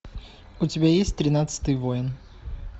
у тебя есть тринадцатый воин